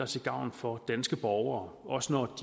til gavn for danske borgere også når